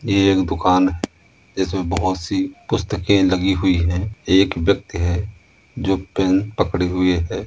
यह एक दुकान जिसमें बहुत सी पुस्तके लगी हुई है एक ब्यक्ति है जो पेन पकडे हुए है।